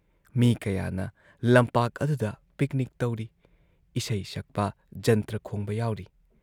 ꯃꯤ ꯀꯌꯥꯅ ꯂꯝꯄꯥꯛ ꯑꯗꯨꯗ ꯄꯤꯛꯅꯤꯛ ꯇꯧꯔꯤ, ꯏꯁꯩ ꯁꯛꯄ, ꯖꯟꯇ꯭ꯔ ꯈꯣꯡꯕ ꯌꯥꯎꯔꯤ ꯫